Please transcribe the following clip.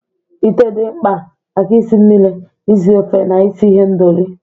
Ite dị mkpa maka isi mmiri, isi ofe, na isi ihendori.